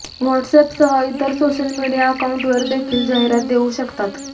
WhatsApp सह इतर social media अकांऊंटवर देखील जाहिरात देऊ शकतात